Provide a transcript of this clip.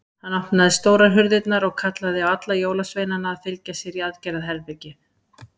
Hann opnaði stórar hurðarnar og kallaði á alla jólasveinana að fylgja sér í aðgerðarherbergið.